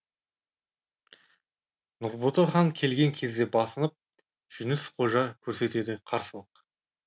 нұрбота хан келген кезде басынып жүніс қожа көрсетеді қарсылық